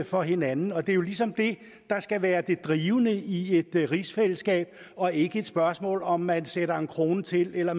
for hinanden og det er jo ligesom det der skal være det drivende i et rigsfællesskab og ikke et spørgsmål om om man sætter en krone til eller